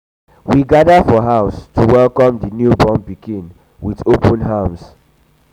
we gather for house um to to welcome di new born pikin with open arms.